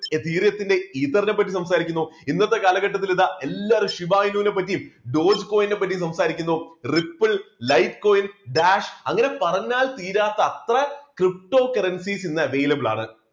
എതേറിയത്തിന്റെ ഈതറിനെ പറ്റി സംസാരിക്കുന്നു ഇന്നത്തെ കാലഘട്ടത്തിൽ ഇതാ എല്ലാരും ശിവായുവിനെ പറ്റിയും ടോൾസ്കോയിനെ പറ്റിയും സംസാരിക്കുന്നു റിപ്പിൾ, ലൈഫ് കോയിൻ, ഡാഷ് അങ്ങനെ പറഞ്ഞാൽ തീരാത്ത അത്ര pto currencies ഇന്ന് available ആണ്.